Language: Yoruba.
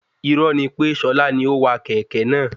Irọ́ ni pè Ṣọlá ni ówà kẹ̀kẹ́ náà